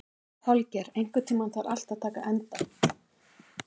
Holgeir, einhvern tímann þarf allt að taka enda.